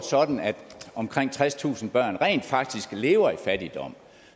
sådan at omkring tredstusind børn rent faktisk lever i fattigdom